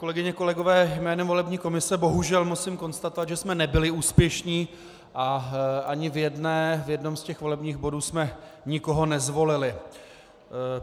Kolegyně, kolegové, jménem volební komise bohužel musím konstatovat, že jsme nebyli úspěšní a ani v jednom z těch volebních bodů jsme nikoho nezvolili.